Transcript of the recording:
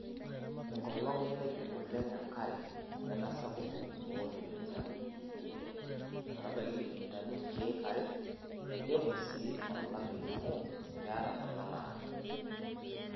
Enkolong' nemepi oleng':enkare nemesapuk oo milimitai iip ile ometabaiki milimitai nkeek are, keidimu sii olameyu amu keeta ntona naado.